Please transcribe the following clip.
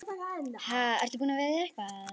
Ha, ertu búinn að veiða eitthvað?